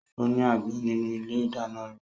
Ó ní àgbọn nínú ilé ìdáná rẹ̀